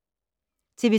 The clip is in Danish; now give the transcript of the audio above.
TV 2